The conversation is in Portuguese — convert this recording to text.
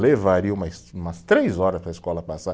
levaria umas, umas três horas para a escola passar.